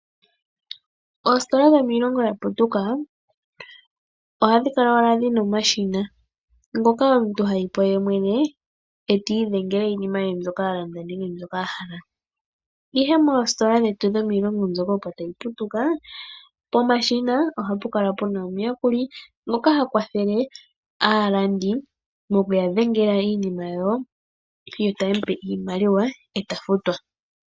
Oositola dhomiilongo ya putuka ohadhi kala owala dhina omashina, ngoka omuntu hayi po yemwene eti idhengele iinima ye mbyoka alanda nenge mbyoka a hala. Ihe moositola dhetu dhomiilongo mbyoka opo tayi putuka pomashina ohapu kala puna omuyakuli ngoka ha kwathele aalandi moku ya dhengela iinima yawo yota taye mupe iimaliwa eta futwa.